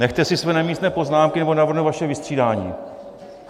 Nechte si své nemístné poznámky, nebo navrhnu vaše vystřídání.